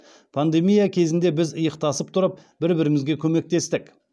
пандемия кезінде біз иықтасып тұрып бір бірімізге көмектестік